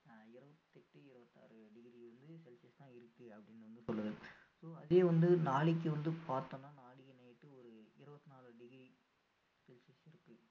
இருபத்து எட்டு இருபத்து ஆறு degree வந்து celsius தான் இருக்கு அப்படின்னு வந்து சொல்லுது so அதே வந்து நாளைக்கு வந்து பார்த்தோம்னா நாளைக்கு night டு ஒரு இருபத்து நாலு degree celsius இருக்கு